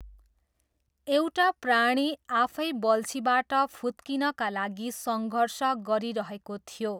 एउटा प्राणी आफै बल्छीबाट फुत्किनका लागि सङ्घर्ष गरिरहेको थियो!